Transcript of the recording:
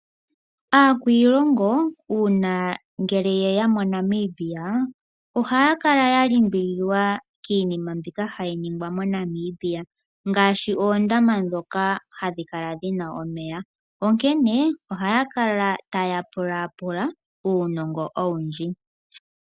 Aakwiilongo uuna ye ya moNamibia ohaya kala ya limbililwa kiinima mbyoka hayi ningwa moNamibia ngaashi oondama ndhoka hadhi kala dhina omeya. Ohaya kala taya pulaapula uunongo owundji.